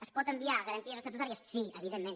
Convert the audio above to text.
es pot enviar a garanties estatutàries sí evident·ment